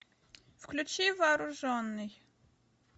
включи вооруженный